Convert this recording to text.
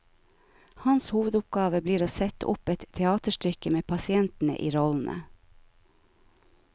Hans hovedoppgave blir å sette opp et teaterstykke med pasientene i rollene.